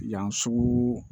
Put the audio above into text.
Yan sugu